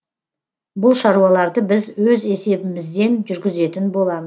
бұл шаруаларды біз өз есебімізден жүргізетін боламыз